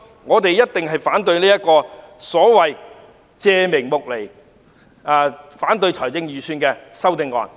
我們一定會反對那些巧立名目、試圖否決預算案的修正案。